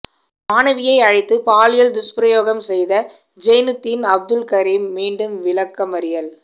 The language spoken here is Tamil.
மாணவியை அழைத்து பாலியல் துஸ்பிரயோகம் செய்த ஜெயினுத்தீன் அப்துல் கரீம் மீண்டும் விளக்கமறியல்